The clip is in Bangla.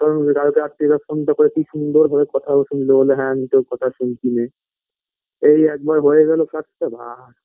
কারণ কাল রাএিরে phone - টা করে কি সুন্দর ভাবে কথা শুনলো বোললে হ্যাঁ নিজেও কথা শুনছি নে এই একবার হয়ে গেল কাজটা বা